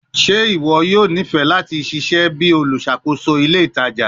Ṣe iwọ yoo nifẹ lati ṣiṣẹ bi oluṣakoso ile itaja itaja?